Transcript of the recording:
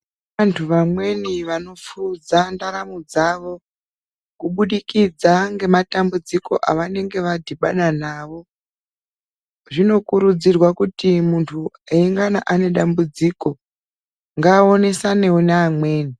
Antu vamweni vanopfuudza ndaramo dzavo kubudikidza ngematambudziko avanenge vadhibana nawo. Zvinokurudzirwa kuti muntu eingana anedambudziko, ngaaonesanewo neamweni.